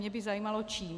Mě by zajímalo čím.